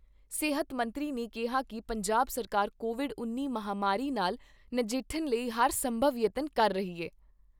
ਸਿਹਤ ਮੰਤਰੀ ਨੇ ਕਿਹਾ ਕਿ ਪੰਜਾਬ ਸਰਕਾਰ ਕੋਵਿਡ ਉੱਨੀ ਮਹਾਮਾਰੀ ਨਾਲ ਨਜਿੱਠਣ ਲਈ ਹਰ ਸੰਭਵ ਯਤਨ ਕਰ ਰਹੀ ਐ।